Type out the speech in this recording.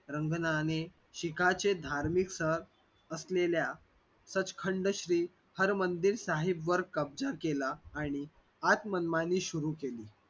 रंगणाने शिखांचे धार्मिक स्थळ असलेलया सच श्री हरमंदिर साहेब वर कब्जा केला आणि आत मनमानी सुरु केली.